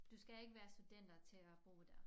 Du skal ikke være studenter til at bo der